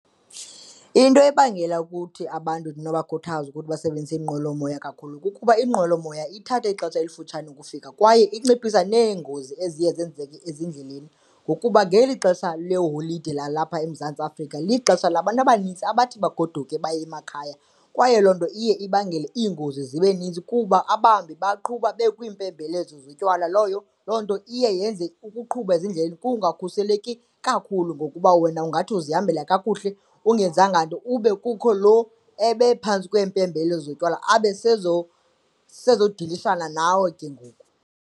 Into ebangela ukuthi abantu ndinobakhuthaza ukuthi basebenzise iinqwelomoya kakhulu kukuba iinqwelomoya ithatha ixesha elifutshane ukufika kwaye inciphisa neengozi eziye zenzeke ezindleleni. Ngokuba ngeli xesha leeholide lalapha eMzantsi Afrika lixesha labantu abanintsi abathi bagoduke baye emakhaya kwaye loo nto iye ibangele iingozi zibe ninzi kuba abahambi baqhuba bekwiimpembelelo zotywala. Loyo loo nto iye yenze ukuqhuba ezindleleni kungakhuseleki kakhulu ngokuba wena ungathi uzihambela kakuhle ungenzanga nto ube kukho lo ebephantsi kweempembelelo zotywala abe abesezodilishana nawe ke ngoku.